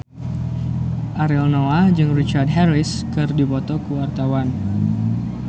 Ariel Noah jeung Richard Harris keur dipoto ku wartawan